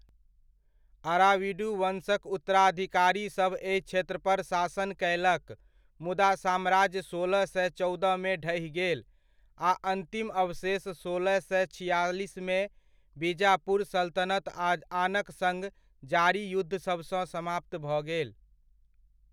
अराविडु वन्शक उत्तराधिकारीसभ एहि क्षेत्र पर शासन कयलक मुदा साम्राज्य सोलह सए चौदहमे ढहि गेल, आ अन्तिम अवशेष सोलह सए छिआलिसमे बीजापुर सल्तनत आ आनक सङ्ग जारी युद्धसभसँ समाप्त भऽ गेल।